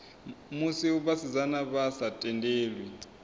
musi vhasidzana vha sa tendelwi